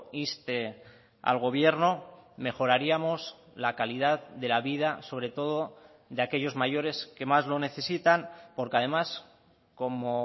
inste al gobierno mejoraríamos la calidad de la vida sobre todo de aquellos mayores que más lo necesitan porque además como